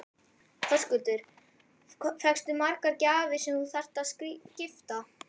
Höskuldur: Fékkstu margar gjafir sem þú þarft að skipta?